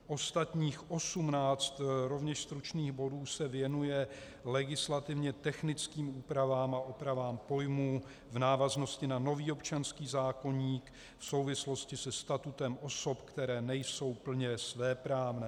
Ostatních 18 rovněž stručných bodů se věnuje legislativně technickým úpravám a opravám pojmů v návaznosti na nový občanský zákoník v souvislosti se statutem osob, které nejsou plně svéprávné.